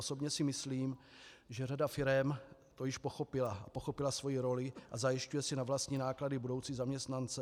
Osobně si myslím, že řada firem to již pochopila, pochopila svoji roli a zajišťuje si na vlastní náklady budoucí zaměstnance.